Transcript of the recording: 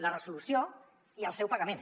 la resolució i el seu pagament